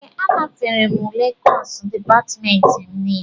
Ee, anafere m ule kọsu dịpatmentị m nile